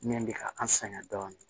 Min bɛ ka an sɛgɛn dɔɔnin